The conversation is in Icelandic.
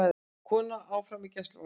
Kona áfram í gæsluvarðhaldi